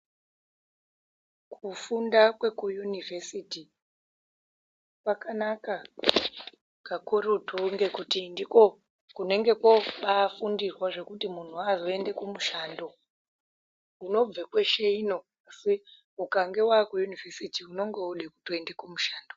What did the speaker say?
Kufunda kwekuUnivhesiti kwakanaka kakurutu ngekuti ndiko kunenge kwobafundirwa zvekuti munhu azoende kumushando. Unobve kweshe ino asi ukanga wakuyunivhesiti unenge wotode kuende kumushando.